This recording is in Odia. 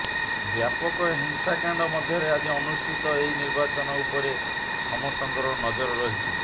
ବ୍ୟାପକ ହିଂସାକାଣ୍ଡ ମଧ୍ୟରେ ଆଜି ଅନୁଷ୍ଠିତ ଏହି ନିର୍ବାଚନ ଉପରେ ସମସ୍ତଙ୍କର ନଜର ରହିଛି